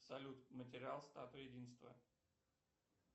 салют материал статуи единства